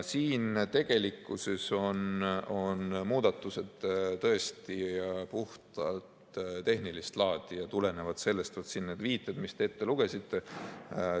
Siin on muudatused tõesti puhtalt tehnilist laadi ja tulenevalt sellest on siin need viited, mis te ette lugesite.